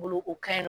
Bolo o ka ɲi